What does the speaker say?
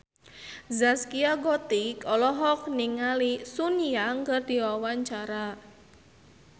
Zaskia Gotik olohok ningali Sun Yang keur diwawancara